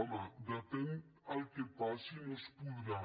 home depèn el que passi no es podrà